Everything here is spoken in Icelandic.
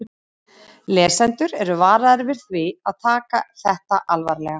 Lesendur eru varaðir við því að taka þetta alvarlega.